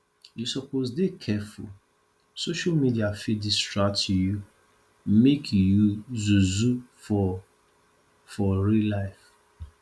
you suppose dey careful social media fit distract you make you zuzu for for real life